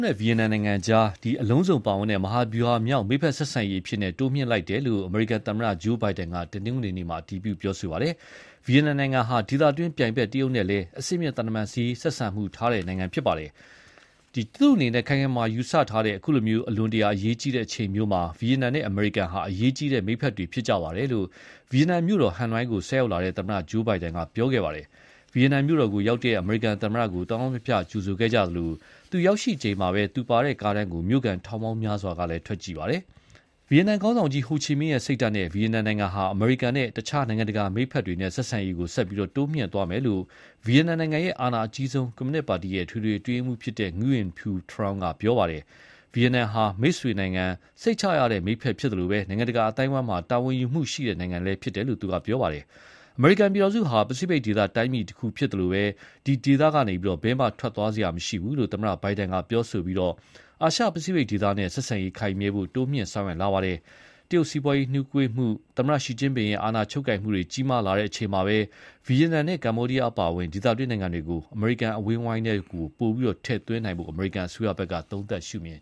နဲ့ဗီယက်နမ်ကြားဆက်ဆံရေးကို အလုံးစုံပါဝင်တဲ့ မဟာဗျူဟာမြောက် မိတ်ဖက်ဆက်ဆံရေးအဖြစ် တိုးမြှင့်လိုက်တယ်လို့ အမေရိကန်သမ္မတ Joe Biden က တနင်္ဂနွေနေ့က အတည်ပြုပါတယ်။ "ဗီယက်နမ်နိုင်ငံဟာ ဒေသတွင်းပြိုင်ဖက် တရုတ်နဲ့လည်း အဆင့်မြင့်သံတမန်ဆက်ဆံရေးထားတဲ့နိုင်ငံဖြစ်ပါတယ်။ ကျနော့်အနေနဲ့ ခိုင်ခိုင်မာမာယူဆထားတဲ့ အခုလို အလွန်တရာအရေးကြီးတဲ့အချိန်မျိုးမှာ ဗီယက်နမ်နဲ့ အမေရိကန်ဟာ အရေးကြီးတဲ့ မိတ်ဖက်တွေဖြစ်ကြတယ်"-လို့ ဗီယက်နမ်နိုင်ငံမြို့တော် Hanoi ကို ဆိုက်ရောက်လာတဲ့ သမ္မတ Biden က ပြောခဲ့ပါတယ်။ ဗီယက်နမ်မြို့တော်ကို ရောက်ရှိတဲ့ အမေရိကန်သမ္မတကို သောင်းသောင်းဖျဖျကြိုဆိုခဲ့သလို ရောက်ရှိချိန်မှာပဲ သူလိုက်ပါလာတဲ့ကားတန်းကို မြိုခံထောင်ပေါင်းများစွာ ထွက်ကြည့်ခဲ့ကြပါတယ်။ ဗီယက်နမ်ခေါင်းဆောင်ကြီး ဟိုချီမင်း စိတ်ဓါတ်နဲ့ ဗီယက်နိုင်ငံဟာ အမေရိကန်နဲ့ အခြားနိုင်ငံတကာမိတ်ဖက်တွေနဲ့ ဆက်ဆံရေး ဆက်ပြီးတိုးမြှင့်သွားမယ်လို့လည်း ဗီယက်နမ်နိုင်ငံရဲ့ အာဏာအကြီးဆုံး ကွန်မြူနစ်ပါတီ အထွေထွေအတွင်းရေးမှူး Ngyuen Phu Trong က ပြောခဲ့ပါတယ်။ ဗီယက်နမ်ဟာ မိတ်ဆွေနိုင်ငံ၊ စိတ်ချရတဲ့ မိတ်ဖက်ဖြစ်သလို နိုင်ငံတကာအသိုင်းအဝိုင်းမှာ တာဝန်ယူမှုရှိတဲ့ နိုင်ငံဖြစ်တယ်လို့လည်း ပြောပါတယ်။ အမေရိကန်ပြည်ထောင်စုဟာ ပစိဖိတ်ဒေသတိုင်းပြည်တခုဖြစ်သလို ဒီဒေသကနေ ဘယ်မှ ထွက်သွားစရာမရှိဘူးလို့လည်း သမ္မတ Biden က ပြောခဲ့ပြီး အာရှ ပစိဖိတ်ဒေသနဲ့ ဆက်ဆံရေးခိုင်မြဲဖို့ တိုးမြှင့်ဆောင်ရွက်လာပါတယ်။ တရုတ်စီးပွားရေးနှေးကွေးမှု သမ္မတ Xi Jinping ရဲ့ အာဏာချုပ်ကိုင်မှုကြီးလာချိန်မှာ ဗီယက်နမ်နဲ့ ကမ္ဘောဒီးယားအပါအဝင် ဒေသတွင်းနိုင်ငံတွေကို အမေရိကန်အဝန်းအဝိုင်းထဲ ပိုမို ထည့်သွင်းနိုင်ဖို့ အမေရိကန်အစိုးရဖက်က သုံးသပ်ရှုမြင်